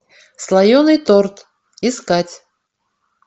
слоеный торт искать